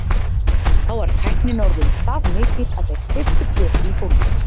Þá var tæknin orðin það mikil að þeir steyptu plötu í gólfið.